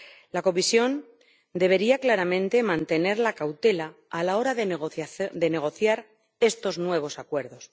La Comisión debería claramente mantener la cautela a la hora de negociar estos nuevos acuerdos.